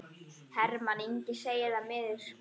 Hermann Ingi segir það miður.